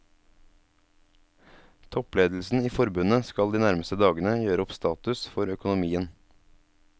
Toppledelsen i forbundet skal de nærmeste dagene gjøre opp status for økonomien.